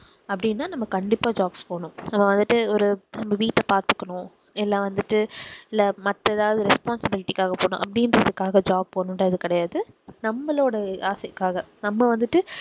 அப்படின்னா நம்ம கண்டிப்பா jobs போகணும் நாம வந்துட்டு ஒரு வீட்ட பாத்துக்கணும் இல்ல வந்துட்டு இல்ல மத்த ஏதாவது responsibility காக பண்ணணும் அப்படின்றதுக்காக job போகணும்றது கிடையாது நம்மளோட ஆசைக்காக நம்ம வந்துட்டு